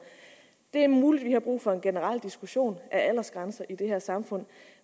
det er muligt at vi har brug for en generel diskussion af aldersgrænser i det her samfund